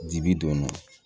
Ji bi don